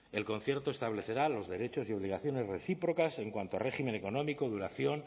el concierto establecerá los derechos y obligaciones recíprocas en cuanto a régimen económico duración